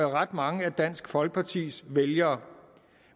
ret mange af dansk folkepartis vælgere